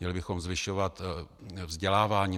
Měli bychom zvyšovat vzdělávání.